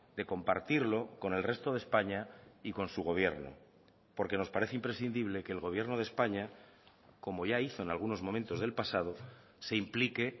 de compartirlo con el resto de españa y con su gobierno porque nos parece imprescindible que el gobierno de españa como ya hizo en algunos momentos del pasado se implique